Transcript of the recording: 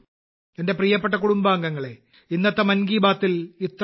എന്റെ പ്രിയപ്പെട്ട കുടുംബാംഗങ്ങളെ ഇന്നത്തെ മൻ കി ബാത്തിൽ ഇത്രമാത്രം